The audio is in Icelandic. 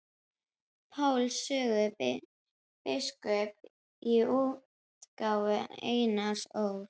Páls sögu biskups í útgáfu Einars Ól.